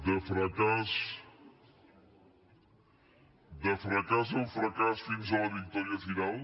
de fracàs en fracàs fins a la victòria final